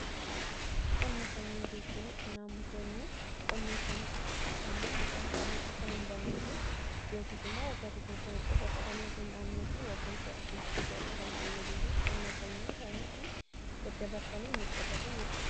Qonna sanyii jechuun qonnaan bultoonni qonna isaanii keessatti sanyiin midhaan isaanii akka hin bannee yookiis immoo waggaa tokko qofa qotanii akka hin dhaabnee fi waggaa isaa dhufuus itti akka isaan fayyaduu fi qonna sanyii isaanii daddabarsanii ni qotatu jechuudha.